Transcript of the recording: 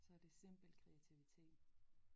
Så det simpel kreativitet